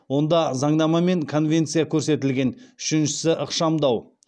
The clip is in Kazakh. онда заңнама мен конвенция көрсетілген үшіншісі ықшамдау